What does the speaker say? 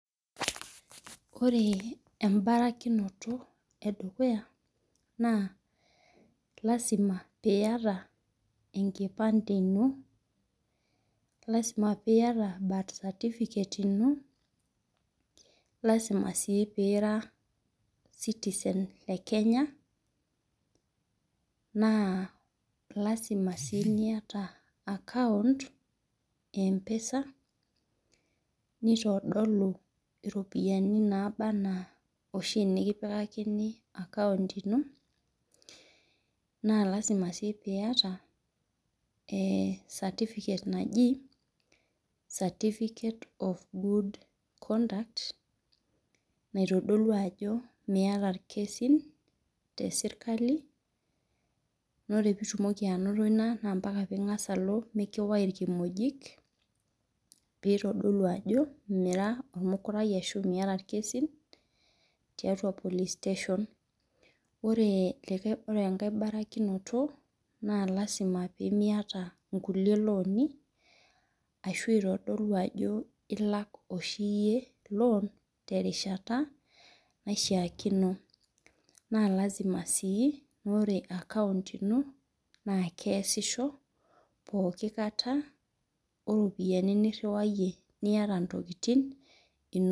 Ore embarakinoto edukuya na lasima piata enkipande ino lasima piata birth certificate ino lasima sii pira sitisen lekenya na lasima si piata empesa nitadolu ropiyani nikipikakini account ino na lasima piata certificate naji certificate of good conduct naitodolu ajo miata irkesin teserkali na ore mbaka pingasa alo aya irkimojik pitadolu ajo mira ormukurai ashu miata irkesin ore engae barikinoto na lasima piata nkuti loani pitadolu ajo tinarishata naishaakino na lasima ore akount ino na keasisho pooki kata oropiyiani niriwayie niata ntokitin inonok.